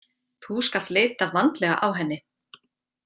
Þú skalt leita vandlega á henni.